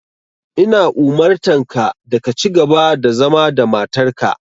Ina umurtanka da ka cigaba da zama da matarka.